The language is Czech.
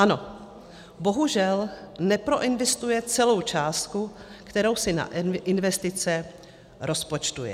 Ano, bohužel, neproinvestuje celou částku, kterou si na investice rozpočtuje.